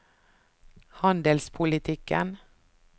handelspolitikken